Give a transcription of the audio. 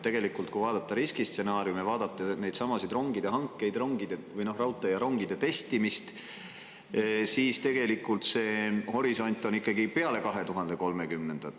Tegelikult, kui vaadata riskistsenaariume ja neidsamu rongihankeid, raudtee ja rongide testimist, siis see horisont on ikkagi peale 2030-ndat.